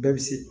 Bɛɛ bɛ se